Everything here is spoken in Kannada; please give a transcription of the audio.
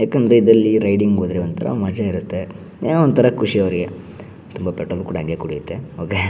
ಯಾಕಂದ್ರೆ ಇದರಲ್ಲಿ ರೈಡಿಂಗ್ ಹೋದರೆ ಒಂತರ ಮಜಾ ಇರುತ್ತೆ ಏನೋ ಒಂತರ ಖುಷಿ ಅವರಿಗೆ ತುಂಬಾ ಪೆಟ್ರೋಲ್ ಕೂಡ ಹಂಗೆ ಕುಡಿಯುತ್ತೆ ಹೊಗೆ .